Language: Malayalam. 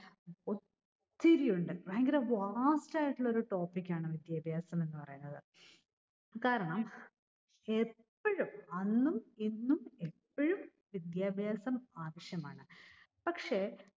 ഒത്തിരിയുണ്ട്. ഭയങ്കര vast ആയിട്ടുള്ള ഒരു topic ആണ് വിദ്യാഭ്യാസം എന്ന് പറയുന്നത്. കാരണം എപ്പോഴും അന്നും ഇന്നും എപ്പോഴും വിദ്യാഭ്യാസം ആവശ്യമാണ്. പക്ഷെ